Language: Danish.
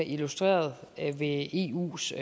illustreret ved eus